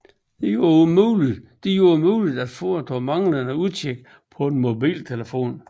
Den gjorde det muligt at foretage manglende udtjek på en mobiltelefon